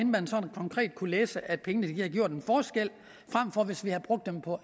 man sådan konkret kunne læse at pengene havde gjort en forskel frem for hvis vi havde brugt dem på